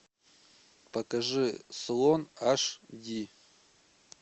покажи слон аш ди